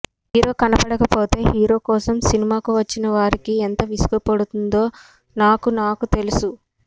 hero కనపడక పోతే hero కోసం సినిమాకు వచ్చిన వారికి ఎంత విసుగు పుడుతుందో నాకు నాకు తెలుసు